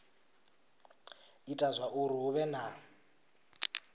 ita zwauri hu vhe na